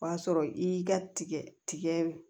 O b'a sɔrɔ i y'i ka tigɛ tigɛ